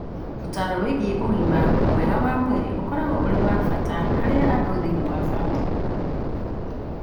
Ũtaaro wĩgiĩ ũgima mwega wa mwĩrĩ ũkoragwo ũrĩ wa bata harĩ andũ thĩinĩ wa bamĩrĩ